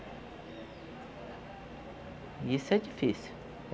E isso é difícil.